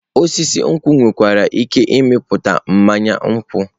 Osisi nkwụ nwekwara ike ịmịpụta mmanya ngwọta.